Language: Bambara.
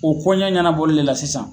O koɲɛ ɲanabɔlile de la sisan